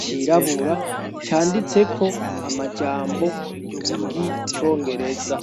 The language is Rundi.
cirabura canditseko amajambo y'Igicongereza.